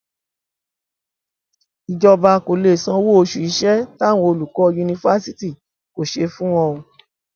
ìjọba kò lè sanwó oṣù iṣẹ táwọn olùkọ yunifásitì kò ṣe fún wọn o